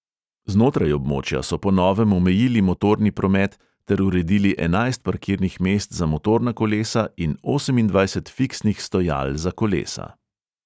Znotraj območja so po novem omejili motorni promet ter uredili enajst parkirnih mest za motorna kolesa in osemindvajset fiksnih stojal za kolesa.